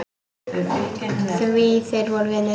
Því þeir voru vinir.